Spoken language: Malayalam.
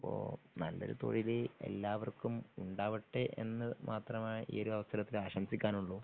ഇപ്പൊ നല്ലൊരു തൊഴിലു എല്ലാവർക്കും ഉണ്ടാവട്ടെ എന്നു മാത്രമായ് ഈ ഒരു അവസരത്തിൽ ആശംമിസിക്കാനുള്ളു